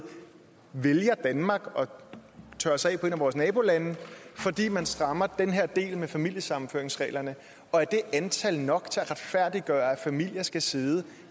vælger danmark og tørres af på et af vores nabolande fordi man strammer den her del med familiesammenføringsreglerne og er det antal nok til at retfærdiggøre at familier skal sidde